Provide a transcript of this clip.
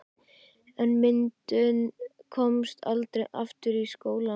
En myndin komst aldrei aftur í skólann.